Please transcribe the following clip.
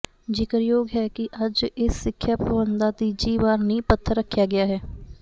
ਜ਼ਿਕਰਯੋਗ ਹੈ ਕਿ ਅੱਜ ਇਸ ਸਿੱਖਿਆ ਭਵਨ ਦਾ ਤੀਜੀ ਵਾਰ ਨੀਂਹ ਪੱਥਰ ਰੱਖਿਆ ਗਿਆ ਹੈ